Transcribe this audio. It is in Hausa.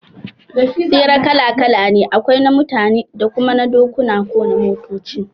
Tsere kala kala ne, akwai na mutane da kuma na dokuna ko na motoci